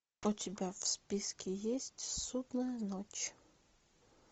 у тебя в списке есть судная ночь